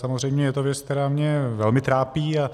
Samozřejmě je to věc, která mě velmi trápí, a